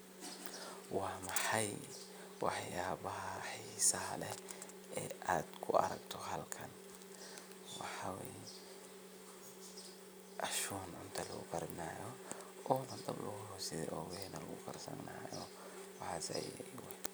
Wa maxay wax yabaha xisaha leh e adkuaragte bahalkan wxa way ashun cunta lagu karinayo oo nadab lagu hos shide one wali lagukarsanayo.